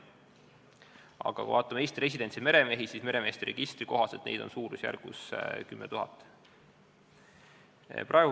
Aga kui vaatame Eesti residentidest meremehi, siis meremeeste registri kohaselt on neid suurusjärgus 10 000.